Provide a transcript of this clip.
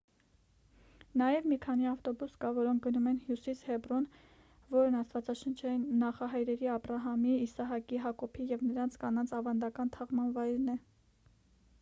նաև մի քանի ավտոբուս կա որոնք գնում են հյուսիս հեբրոն որն աստվածաշնչային նախահայրերի աբրահամի իսահակի հակոբի և նրանց կանանց ավանդական թաղման վայրն է